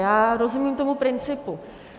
Já rozumím tomu principu.